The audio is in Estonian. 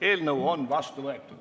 Eelnõu on vastu võetud.